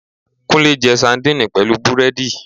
. Kúnlẹ́ jẹ sandini pẹ̀lú búrẹ́dì